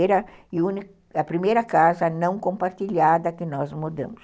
Era a primeira e única, era a primeira casa, não compartilhada que nós mudamos.